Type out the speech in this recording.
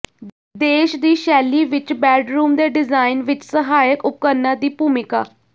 ਦੇਸ਼ ਦੀ ਸ਼ੈਲੀ ਵਿਚ ਬੈਡਰੂਮ ਦੇ ਡਿਜ਼ਾਇਨ ਵਿਚ ਸਹਾਇਕ ਉਪਕਰਣਾਂ ਦੀ ਭੂਮਿਕਾ